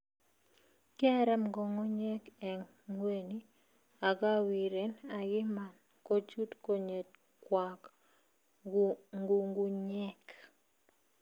kiaram ngungunyeeg en ngweny agawiren agiman kochut konyekwag ngungunyeeg